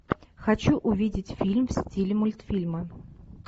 хочу увидеть фильм в стиле мультфильма